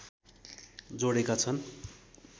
जोडेका छन्